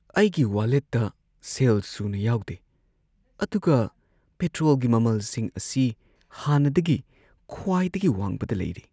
ꯑꯩꯒꯤ ꯋꯥꯂꯦꯠꯇ ꯁꯦꯜ ꯁꯨꯅ ꯌꯥꯎꯗꯦ ꯑꯗꯨꯒ ꯄꯦꯇ꯭ꯔꯣꯜꯒꯤ ꯃꯃꯜꯁꯤꯡ ꯑꯁꯤ ꯍꯥꯟꯅꯗꯒꯤ ꯈ꯭ꯋꯥꯏꯗꯒꯤ ꯋꯥꯡꯕꯗ ꯂꯩꯔꯤ꯫